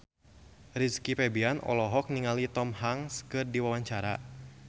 Rizky Febian olohok ningali Tom Hanks keur diwawancara